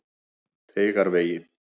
Teigavegi